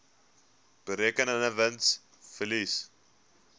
berekende wins verlies